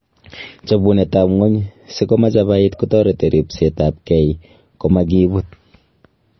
Chobunet ab ng�ony siko machabait kotoreti ripest ab gee komakibut.